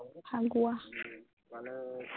Phagua